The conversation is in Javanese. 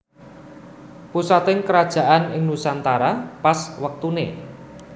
Pusating kerajaan ing nusantara pas wektuné